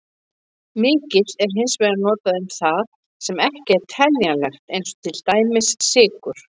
Mikill er hins vegar notað um það sem ekki er teljanlegt, eins og mikill sykur.